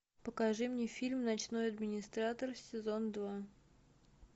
покажи мне фильм ночной администратор сезон два